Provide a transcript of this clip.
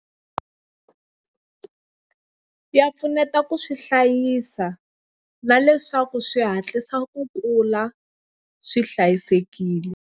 Ya pfuneta ku swi hlayisa na leswaku swi hatlisa ku kula swi hlayisekile.